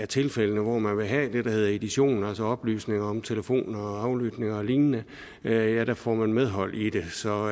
tilfælde hvor man vil have det der hedder edition altså oplysninger om telefonaflytninger og lignende ja der får man medhold i det så